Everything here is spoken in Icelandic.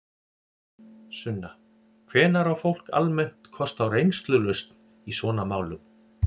Sunna: Hvenær á fólk almennt kost á reynslulausn í svona málum?